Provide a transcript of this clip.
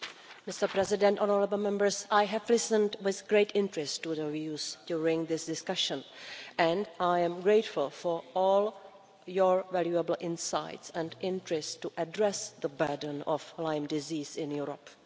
Mr President, honourable Members, I have listened with great interest to the views during this discussion, and I am grateful for all your valuable insights and interest to address the burden of Lyme disease in Europe.